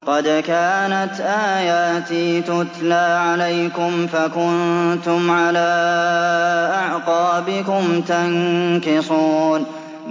قَدْ كَانَتْ آيَاتِي تُتْلَىٰ عَلَيْكُمْ فَكُنتُمْ عَلَىٰ أَعْقَابِكُمْ تَنكِصُونَ